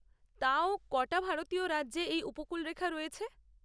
তাও, ক'টা ভারতীয় রাজ্যে এই উপকূলরেখা রয়েছে?